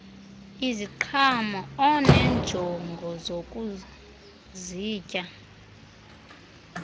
iziqhamo oneenjongo zokuzitya